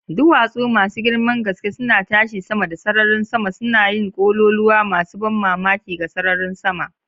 Duwatsu masu girman gaske suna tashi sama da sararin sama, suna yin kololuwa masu ban mamaki ga sararin sama.